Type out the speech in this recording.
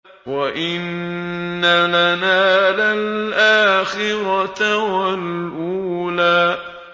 وَإِنَّ لَنَا لَلْآخِرَةَ وَالْأُولَىٰ